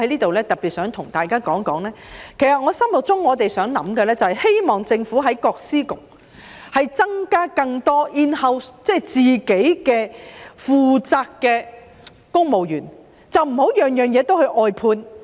我在此特別想對大家說，我們希望政府在各司局增加更多自己負責的公務員職位，而不是甚麼事情也外判。